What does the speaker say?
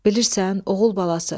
Bilirsən, oğul balası.